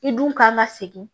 I dun kan ka segin